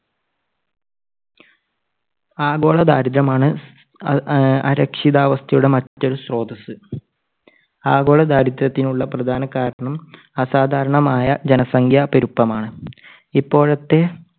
ആഗോളദാരിദ്ര്യം ആണ് അഹ് അരക്ഷിതാവസ്ഥയുടെ മറ്റൊരു സ്രോതസ്സ്. ആഗോള ദാരിദ്ര്യത്തിനുള്ള പ്രധാനകാരണം അസാധാരണമായ ജനസംഖ്യാ പെരുപ്പം ആണ്. ഇപ്പോഴത്തെ